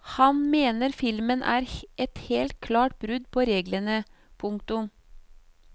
Han mener filmen er et helt klart brudd på reglene. punktum